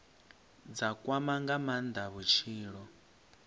dza kwama nga maanda vhutshilo